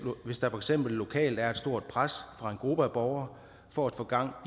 hvis der for eksempel lokalt er et stort pres fra en gruppe af borgere for at få gang